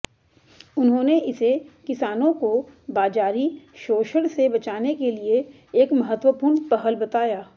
उन्होंने इसे किसानों को बाजारी शोशण से बचाने के लिए एक महत्वपूर्ण पहल बताया